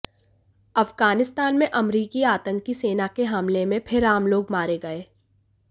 अफ़ग़ानिस्तान में अमरीकी आतंकी सेना के हमले में फिर आम लोग मारे गए